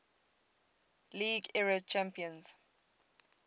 league era champions